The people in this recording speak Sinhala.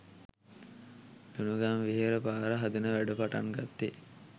ලුණුගම්වෙහෙර පාර හදන වැඩ පටන් ගත්තේ